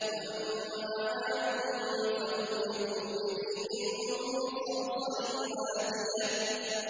وَأَمَّا عَادٌ فَأُهْلِكُوا بِرِيحٍ صَرْصَرٍ عَاتِيَةٍ